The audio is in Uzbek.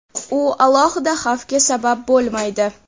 u alohida xavfga sabab bo‘lmaydi.